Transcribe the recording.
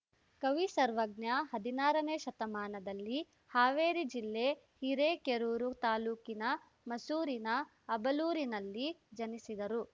ಕವಿ ಸರ್ವಜ್ಞ ಹದಿನಾರನೇ ಶತಮಾನದಲ್ಲಿ ಹಾವೇರಿ ಜಿಲ್ಲೆ ಹಿರೇಕೆರೂರು ತಾಲೂಕಿನ ಮಸೂರಿನ ಅಬಲೂರಿನಲ್ಲಿ ಜನಿಸಿದರು